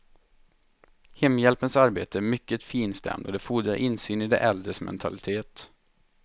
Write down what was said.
Hemhjälpens arbete är mycket finstämt och det fordrar insyn i de äldres mentalitet.